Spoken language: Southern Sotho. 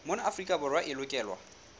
mona afrika borwa e lokelwa